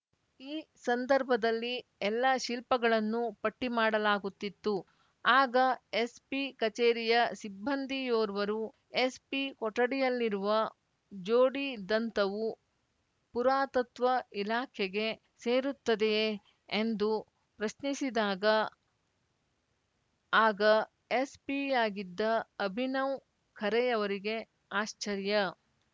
ಈ ಸಂದರ್ಭದಲ್ಲಿ ಎಲ್ಲ ಶಿಲ್ಪಗಳನ್ನು ಪಟ್ಟಿಮಾಡಲಾಗುತ್ತಿತ್ತು ಆಗ ಎಸ್‌ಪಿ ಕಚೇರಿಯ ಸಿಬ್ಬಂದಿಯೋರ್ವರು ಎಸ್‌ಪಿ ಕೊಠಡಿಯಲ್ಲಿರುವ ಜೋಡಿ ದಂತವೂ ಪುರಾತತ್ವ ಇಲಾಖೆಗೆ ಸೇರುತ್ತದೆಯೇ ಎಂದು ಪ್ರಶ್ನಿಸಿದಾಗ ಆಗ ಎಸ್‌ಪಿ ಯಾಗಿದ್ದ ಅಭಿನವ್‌ ಖರೆಯವರಿಗೆ ಆಶ್ಚರ್ಯ